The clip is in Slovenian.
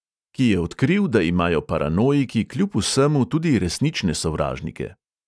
Ki je odkril, da imajo paranoiki kljub vsemu tudi resnične sovražnike.